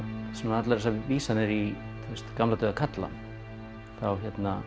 allar þessar vísanir í gamla dauða karla þá